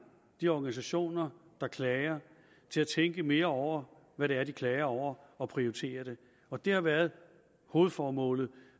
de organisationer der klager til at tænke mere over hvad det er de klager over og prioritere det og det har været hovedformålet